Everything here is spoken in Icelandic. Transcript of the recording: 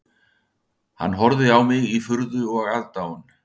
Hann horfði á mig í furðu og aðdáun